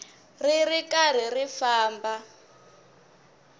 ri ri karhi ri famba